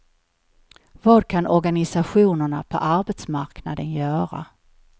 Vad kan organisationerna på arbetsmarknaden göra?